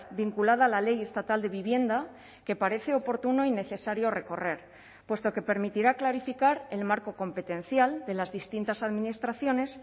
vinculada a la ley estatal de vivienda que parece oportuno y necesario recorrer puesto que permitirá clarificar el marco competencial de las distintas administraciones